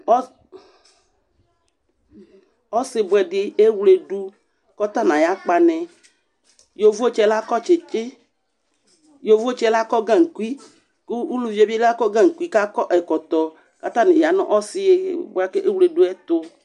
osi boẽdi ewluedu ku ota nu aya kpani yeʋotsi lakɔ gankui ku uluʋiebi ako gankui ku ako ɛkotɔ ku atani yanu osi buakewledu yɛtu